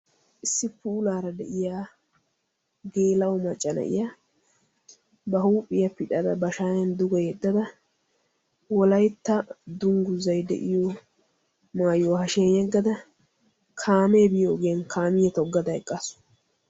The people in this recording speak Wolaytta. Issi puulaara de'iya geella"o macca na'iyaa ba huuphiya pixxada ba shayan duge yedadda wolaytta dungguzay de'iyo maayyuwa hashshiyaan yeggada kaame biyo ogiyan kaamiya toggada eqqaasu.